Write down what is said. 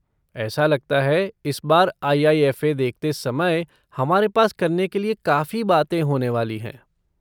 ऐसा लगता है इस बार आई.आई.एफ़.ए. देखते समय हमारे पास करने के लिए काफ़ी बातें होने वाली हैं।